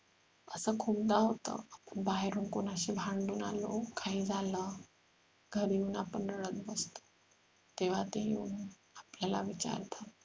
असं खूपदा होत बाहेर कोणाशी भांडून आलो काही झालं घरी येऊन आपण रडत बसतो तेव्हा ते येऊन आपल्याला विचारतात